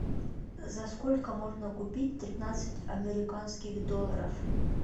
за сколько можно купить тринадцать американских долларов